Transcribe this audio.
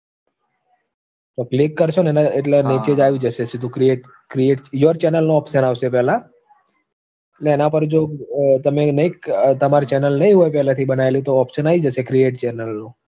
click કરશો ન એટલે નીચે જ આવી જશે સીધું. create create your channel નો option આવશે પેલા. અને એના પર જો તમે નઈ જો તમારી channel નઈ હોય પેલાથી તો option આવી જશે create chanel નો